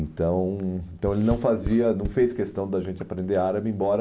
Então, então, ele não fazia, não fez questão da gente aprender árabe, embora...